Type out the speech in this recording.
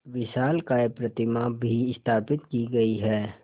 विशालकाय प्रतिमा भी स्थापित की गई है